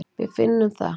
Við finnum það.